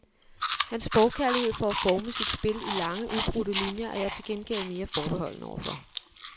Hans forkærlighed for at forme sit spil i lange, ubrudte linier er jeg til gengæld mere forbeholden overfor.